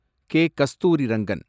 K. Kasturirangan